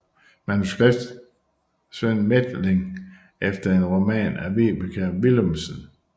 Manuskript Sven Methling efter en roman af Vibeke Willumsen